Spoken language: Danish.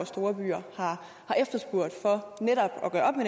store byer har efterspurgt for netop